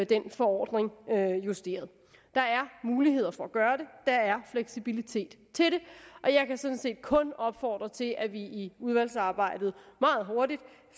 den forordning justeret der er muligheder for at gøre det der er fleksibilitet til det og jeg kan sådan set kun opfordre til at vi i udvalgsarbejdet meget hurtigt